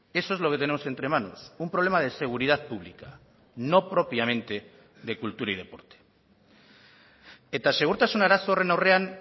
eso es lo que tenemos entre manos un problema de seguridad pública no propiamente de cultura y deporte eta segurtasun arazo horren aurrean